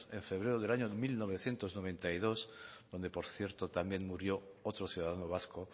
en febrero del año mil novecientos noventa y dos donde por cierto también murió otro ciudadano vasco